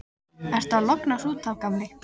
Ertu að lognast út af, gamli?